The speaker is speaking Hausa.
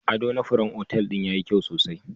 Adona furen otal din yayi kyau sosai